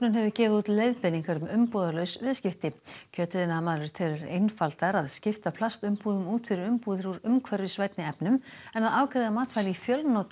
hefur gefið út leiðbeiningar um umbúðalaus viðskipti kjötiðnaðarmaður telur einfaldara að skipta plastumbúðum út fyrir umbúðir úr umhverfisvænni efnum en að afgreiða matvæli í fjölnota